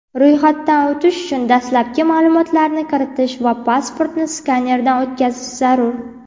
Ro‘yxatdan o‘tish uchun dastlabki ma’lumotlarni kiritish va pasportni skanerdan o‘tkazish zarur.